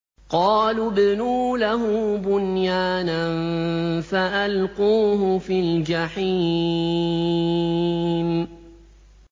قَالُوا ابْنُوا لَهُ بُنْيَانًا فَأَلْقُوهُ فِي الْجَحِيمِ